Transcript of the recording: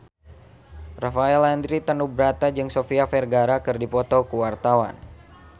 Rafael Landry Tanubrata jeung Sofia Vergara keur dipoto ku wartawan